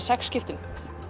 sex skiptum